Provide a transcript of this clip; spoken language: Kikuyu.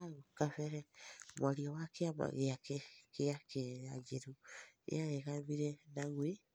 haũ kabere mwarĩa wa kĩama gĩake kĩa Kenya njerũ nĩaregamĩre na gwĩ